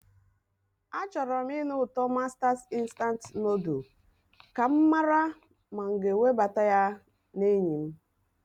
Achọrọ m ịnụ ụtọ masters instant noodle ka m mara ma m ga-ewebata ya na enyi m.